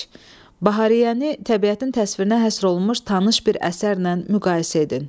Bahariyəni təbiətin təsvirinə həsr olunmuş tanış bir əsərlə müqayisə edin.